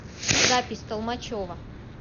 запись толмачево